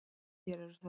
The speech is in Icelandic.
Hér eru þau.